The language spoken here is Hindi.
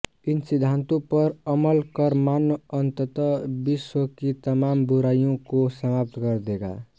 इन सिद्धांतों पर अमल कर मानव अंततः विश्व की तमाम बुराई को समाप्त कर देगा